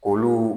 Olu